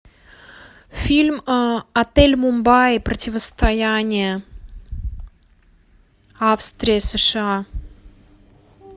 фильм отель мумбаи противостояние австрия сша